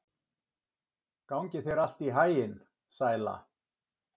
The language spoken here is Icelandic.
Gangi þér allt í haginn, Sæla.